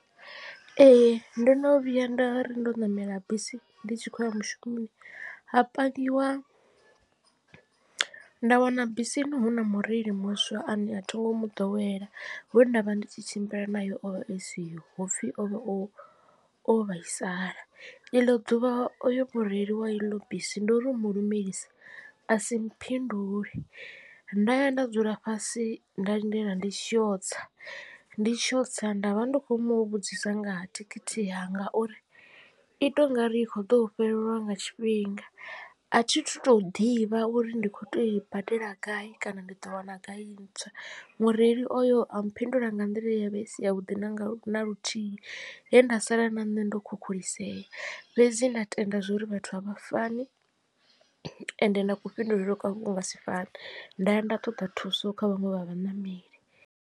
Ee ndo no vhuya nda ri ndo ṋamela bisi ndi tshi khou ya mushumoni ha pangiwa nda wana bisini hu na mureili muswa a ne a thi ngo mu ḓowela we ndavha ndi tshi tshimbila naye o vha a siho hopfhi ovha o o vhaisala iḽo ḓuvha oyo mureili wa iḽo bisi ndori u mulumelisa asi mphindule nda ya nda dzula fhasi nda lindela ndi tshi yo tsa. Ndi tshi yo tsa nda vha ndi khou mu vhudzisa nga ha thikhithi yanga uri ito ungari i kho ḓo fhelelwa nga tshifhinga a thi thu to ḓivha uri ndi khou tea u i badela gai kana ndi ḓo wana gai ntswa. Mureili oyo a mphindula nga nḓila ye ya vha i si ya vhuḓi na nga na luthihi he nda sala na nṋe ndo khukhulisea fhedzi nda tenda zwori vhathu avha fani ende na ku fhindulele kwavho ku nga si fane nda ya nda ṱoḓa thuso kha vhaṅwe vha vhaṋameli.